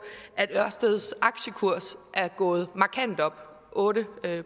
at ørsteds aktiekurs er gået markant op otte